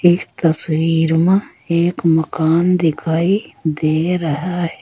इस तस्वीर में एक मकान दिखाई दे रहा है।